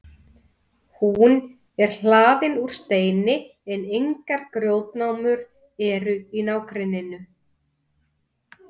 hún er hlaðin úr steini en engar grjótnámur eru í nágrenninu